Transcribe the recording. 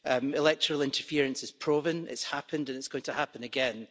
Electoral interference is proven, it's happened and it's going to happen again.